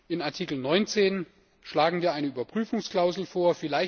In Artikel 19 schlagen wir eine Überprüfungsklausel vor.